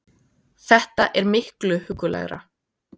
Þetta er miklu huggulegra